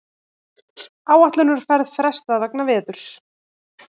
Áætlunarferð frestað vegna veðurs